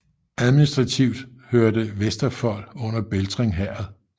Administrativ hørte Vesterfold under Beltring Herred